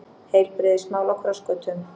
Heilbrigðismál á krossgötum